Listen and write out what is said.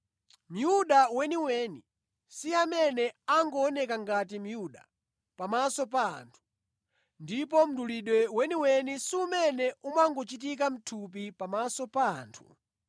Myuda weniweni si amene angooneka ngati Myuda pamaso pa anthu, ndipo mdulidwe weniweni si umene umangochitika mʼthupi pamaso pa anthu.